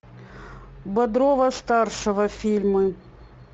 бодрова старшего фильмы